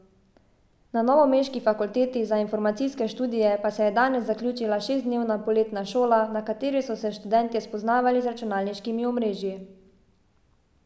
Na novomeški fakulteti za informacijske študije pa se je danes zaključila šestdnevna poletna šola, na kateri so se študentje spoznavali z računalniškimi omrežji.